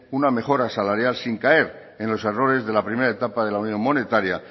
una mejora salaria sin caer en los errores de la primera etapa de la unión monetaria